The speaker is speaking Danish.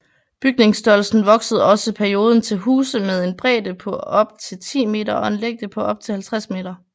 Bygningsstørrelsen voksede også perioden til huse med en bredde på op til 10m og en længde på op til 50m